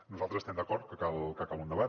nosaltres estem d’acord que cal un debat